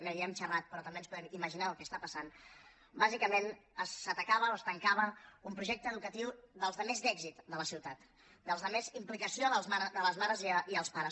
no hi hem xerrat però també ens podem imaginar el que hi està passant bàsicament s’atacava o es tancava un projecte educatiu dels de més èxit de la ciutat dels de més implicació de les mares i els pares